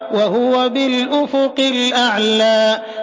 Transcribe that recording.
وَهُوَ بِالْأُفُقِ الْأَعْلَىٰ